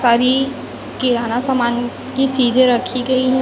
सारी किराना सामान की चीजें रखी गई है।